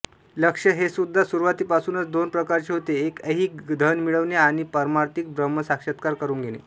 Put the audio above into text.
लक्ष्य हेसुद्धा सुरुवातीपासूनच दोन प्रकारचे होते एक ऐहिक धन मिळविणे आणि पारमार्थिक ब्रह्मसाक्षात्कार करून घेणे